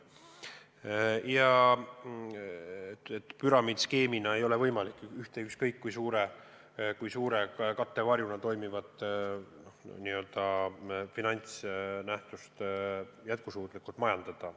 Püramiidskeemina ei ole võimalik ükskõik kui suure kattevarjuna toimivat n-ö finantsnähtust jätkusuutlikult majandada.